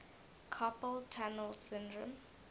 carpal tunnel syndrome